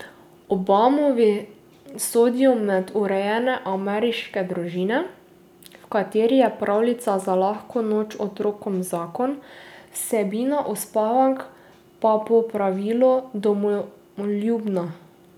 Obamovi sodijo med urejene ameriške družine, v katerih je pravljica za lahko noč otrokom zakon, vsebina uspavank pa po pravilu domoljubna.